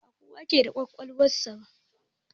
Ba kowa ke aiki da kwakwalwan sa ba.